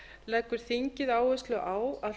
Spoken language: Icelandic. leggur þingið áherslu á að